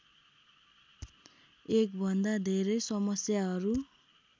एकभन्दा धेरै समस्याहरू